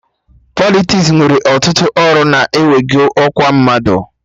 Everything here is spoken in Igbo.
Politiks nwere ọtụtụ ọrụ na-ewego ọkwa mmadụ